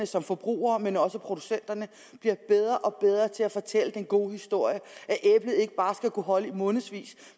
som forbrugere men også producenterne bliver bedre og bedre til at fortælle den gode historie at æblet ikke bare skal kunne holde i månedsvis